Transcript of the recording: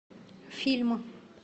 фильмы